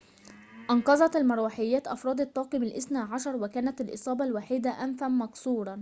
أنقذت المروحيات أفرد الطاقم الاثني عشر وكانت الإصابة الوحيدة أنفًا مكسورًا